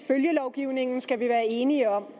følgelovgivningen skal vi være enige om